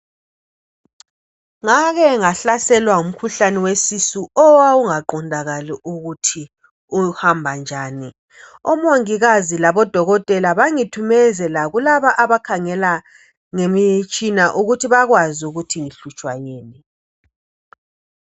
Ngake ngahlaselwa ngumkhuhlane wesisu owawungaqondakali ukuthi uhamba njani. Omongikazi labodokotela bangithumezela kulaba abakhangela ngemitshina ukuthi bakwazi ukuthi ngihlutshwa yini.